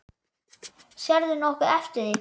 Sérðu nokkuð eftir því?